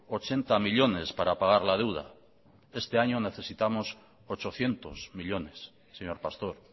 ochenta millónes para pagar la deuda este año necesitamos ochocientos millónes señor pastor